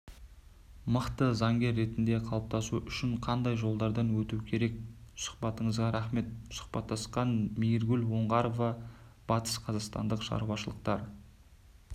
мықты заңгер ретінде қалыптасу үшін қандай жолдардан өту керек сұхбатыңызға рақмет сұхбаттасқан мейіргүл оңғарова батысқазақстандық шаруашылықтар